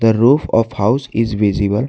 The roof of house is visible.